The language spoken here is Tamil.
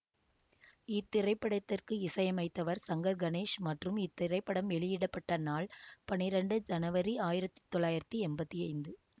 இத்திரைப்படத்திற்கு இசையமைத்தவர் சங்கர் கணேஷ் மற்றும் இத்திரைப்படம் வெளியிட பட்ட நாள் பன்னிரெண்டு ஜனவரி ஆயிரத்தி தொள்ளாயிரத்தி எம்பத்தி ஐந்து